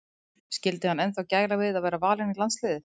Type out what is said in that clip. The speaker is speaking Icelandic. Skyldi hann ennþá gæla við að vera valinn í landsliðið?